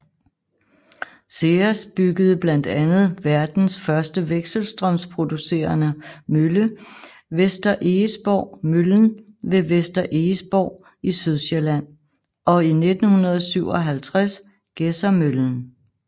SEAS byggede blandt andet verdens første vekselstrømsproducerende mølle Vester Egesborg Møllen ved Vester Egesborg i Sydsjælland og i 1957 Gedsermøllen